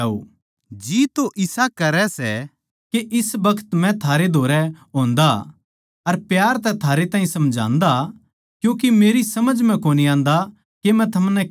जी तो इसा करै सै के इस बखत मै थारे धोरै होन्दा अर प्यार तै थारे ताहीं समझान्दा क्यूँके मेरी समझ म्ह कोनी आन्दा के मै थमनै के कहूँ